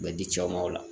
U bɛ di cɛw ma o la